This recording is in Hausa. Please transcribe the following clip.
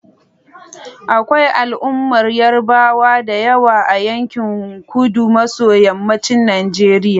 Akwai al'ummar Yarbawa da yawa a yankin kudu maso yammacin Najeriya.